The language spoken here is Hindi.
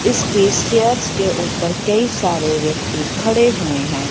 इस केस चेयर्स के ऊपर कई सारे व्यक्ति खड़े हुए हैं।